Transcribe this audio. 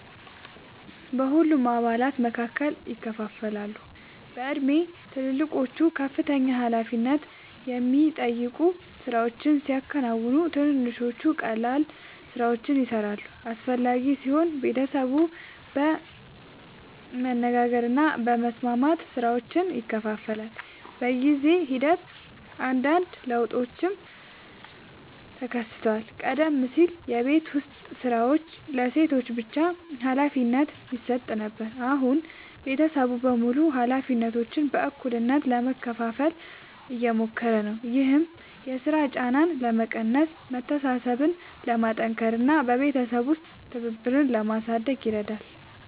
በሁሉም አባላት መካከል ይከፋፈላሉ። በእድሜ ትልልቆቹ ከፍተኛ ኃላፊነት የሚጠይቁ ሥራዎችን ሲያከናውኑ፣ ትንንሾቹ ቀላል ሥራዎችን ይሠራሉ። አስፈላጊ ሲሆን ቤተሰቡ በመነጋገር እና በመስማማት ሥራዎችን ይከፋፍላል። በጊዜ ሂደት አንዳንድ ለውጦችም ተከስተዋል። ቀደም ሲል የቤት ዉስጥ ሥራዎች ለሴቶች ብቻ ሀላፊነት ይሰጥ ነበር፣ አሁን ቤተሰቡ በሙሉ ኃላፊነቶችን በእኩልነት ለመካፈል እየሞከሩ ነው። ይህም የሥራ ጫናን ለመቀነስ፣ መተሳሰብን ለማጠናከር እና በቤተሰብ ውስጥ ትብብርን ለማሳደግ ይረዳል።